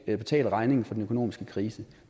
at betale regningen for den økonomiske krise